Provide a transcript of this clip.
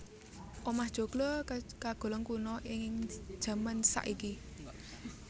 Omah joglo kagolong kuna ing jaman saiki